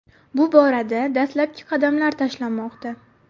Bu borada dastlabki qadamlar tashlanmoqda.